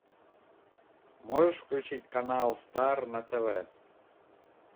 можешь включить канал стар на тв